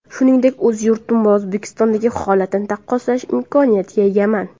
Shuningdek, o‘z yurtim va O‘zbekistondagi holatni taqqoslash imkoniyatiga egaman.